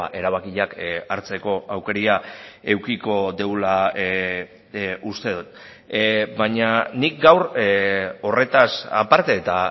erabakiak hartzeko aukera edukiko dugula uste dut baina nik gaur horretaz aparte eta